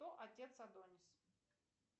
кто отец адонис